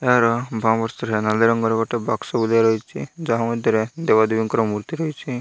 ଏହାର ନାଲି ରଙ୍ଗ ଗୋଟେ ବାକ୍ସ ରହିଚି ଯାହା ମଧ୍ୟରେ ଦେବ ଦେବୀଙ୍କ ମୃତ୍ତି ରହିଚି ।